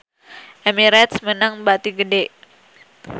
Emirates meunang bati gede